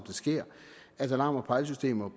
det sker at alarm og pejlesystemer